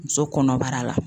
Muso kɔnɔbara la.